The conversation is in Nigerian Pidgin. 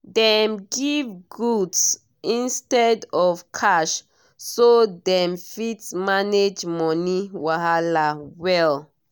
dem give goods instead of cash so dem fit manage money wahala well